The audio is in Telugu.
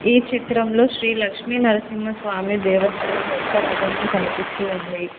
ఈ చిత్రంలో శ్రీ లక్ష్మీనరసింహస్వామి దేవస్థానం యొక్క రధము కనిపిస్తూ ఉంది.